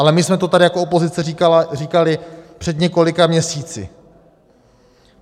Ale my jsme to tady jako opozice říkali před několika měsíci.